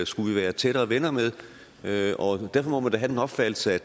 skulle vi være tættere venner med derfor må man da have den opfattelse at